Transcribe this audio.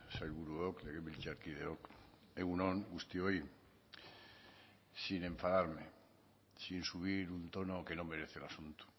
sailburuok legebiltzarkideok egun on guztioi sin enfadarme sin subir un tono que no merece el asunto